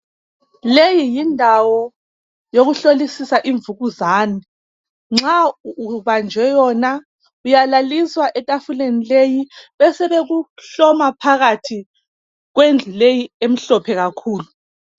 Leyi yindawo yokuhlolisisa imvukuzani .Nxa ubanjwe yona uyalaliswa ethafuleni leyi ,besebekuhloma phakathi kwendlu leyi emhlophe kakhulu.